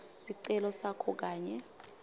sicelo sakho kanye